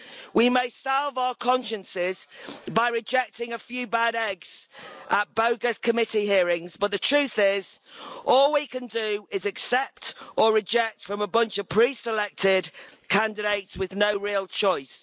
We may salve our consciences by rejecting a few bad eggs at bogus committee hearings, but the truth is all we can do is accept or reject from a bunch of pre selected candidates, with no real choice.